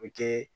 O kɛ